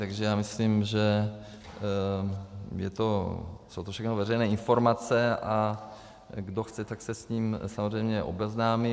Takže já myslím, že jsou to všechno veřejné informace, a kdo chce, tak se s tím samozřejmě obeznámí.